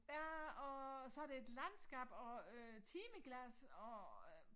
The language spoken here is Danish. Ja og så det et landskab og øh timeglas og øh